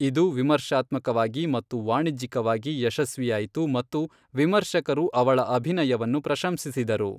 ಇದು ವಿಮರ್ಶಾತ್ಮಕವಾಗಿ ಮತ್ತು ವಾಣಿಜ್ಯಿಕವಾಗಿ ಯಶಸ್ವಿಯಾಯಿತು ಮತ್ತು ವಿಮರ್ಶಕರು ಅವಳ ಅಭಿನಯವನ್ನು ಪ್ರಶಂಸಿಸಿದರು.